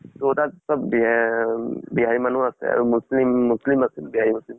so চব তাত বিহাৰ অম বিহাৰী মানুহ আছে। আৰু মুছ্লিম মুছ্লিম আছিল, বিহাৰী মুছ্লিম ।